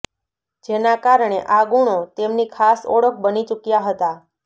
જેના કારણે આ ગુણો તેમની ખાસ ઓળખ બની ચૂક્યા હતા